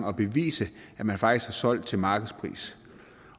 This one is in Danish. og bevise at man faktisk har solgt til markedspris